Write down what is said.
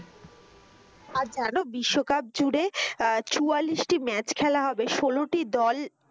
আর যেন বিশ্বকাপ জুড়ে আহ চুয়াল্লিশটি match খেলা হবে, ষোলোটি দল.